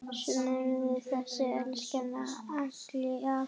Sjáumst seinna, elsku Alli afi.